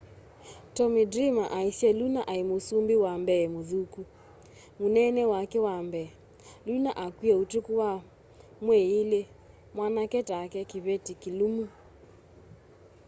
tommy dreamera aĩsye lũna aĩ mũsũmbĩ wa mbee mũthũkũ. mũnene wake wa mbee. lũna akwĩe ũtũkũ wa mweĩ ĩlĩ.mwanake take.kĩvetĩ kĩlũmũ.